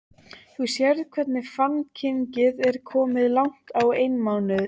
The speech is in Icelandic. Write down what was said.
Þú sérð hvernig fannkyngið er og komið langt á einmánuð.